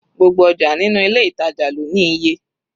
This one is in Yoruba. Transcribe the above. Gbogbo ọjà nínú ilé ìtàjà lọ ní iye.